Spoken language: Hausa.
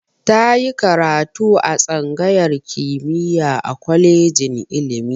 Ta yi karatu a tsangayar kimiyya a kolejin ilimi.